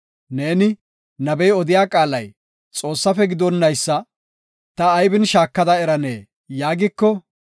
Neeni, “Nabey odiya qaalay Xoossafe gidonnaysa ta aybin shaakada eranee?” yaagiko,